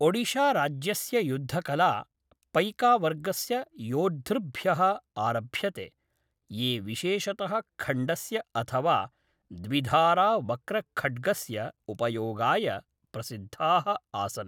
ओडिशाराज्यस्य युद्धकला पैकावर्गस्य योद्धृभ्यः आरभ्यते, ये विशेषतः खण्डस्य अथवा द्विधारावक्रखड्गस्य उपयोगाय प्रसिद्धाः आसन्।